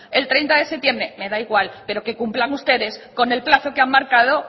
el treinta de septiembre me da igual pero que cumplan ustedes con el plazo que han marcado